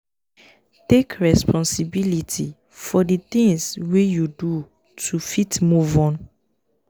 take responsibility for di things wey you do to fit move on